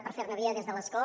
per fer·ne via des de l’escó